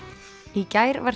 í gær var